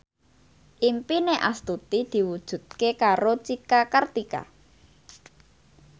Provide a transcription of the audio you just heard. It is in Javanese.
impine Astuti diwujudke karo Cika Kartika